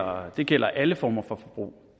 og det gælder alle former for forbrug